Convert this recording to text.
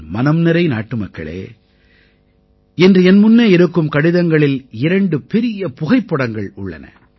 என் மனம் நிறை நாட்டுமக்களே இன்று என் முன்னே இருக்கும் கடிதங்களில் இரண்டு பெரிய புகைப்படங்கள் உள்ளன